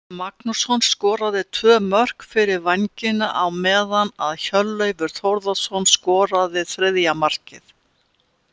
Tryggvi Magnússon skoraði tvö mörk fyrir Vængina á meðan að Hjörleifur Þórðarson skoraði þriðja markið.